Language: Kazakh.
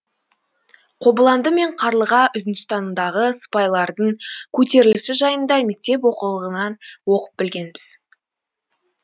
қобыланды мен қарлыға үндістандағы сыпайлардың көтерілісі жайында мектеп оқулығынан оқып білгенбіз